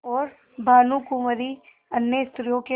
और भानुकुँवरि अन्य स्त्रियों के